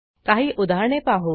काही उदाहरणे पाहू